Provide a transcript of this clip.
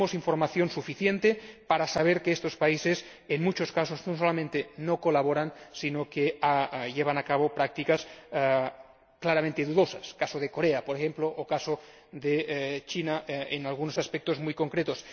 Tenemos información suficiente para saber que estos países, en muchos casos, no solamente no colaboran, sino que llevan a cabo prácticas claramente dudosas como Corea, por ejemplo, o China, en algunos aspectos muy concretos.